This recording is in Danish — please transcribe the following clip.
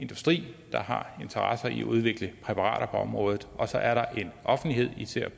industri der har interesse i at udvikle præparater på området og så er der en offentlighed især